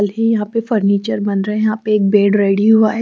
यहां पे फर्नीचर बन रहे हैं यह पे एक बेड रेडी हुआ है।